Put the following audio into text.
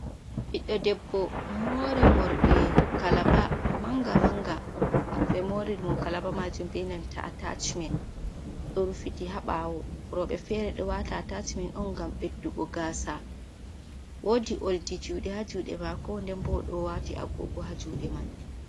Biɗdo debbo mori mordi manga manga be mori mo kalaba majum benan ta atacmen do rufiti habawo robe fere do wata atacment on gam beddugo gasa wodi oldi jude ha jude mako nden bo o do wati agogo ha jude man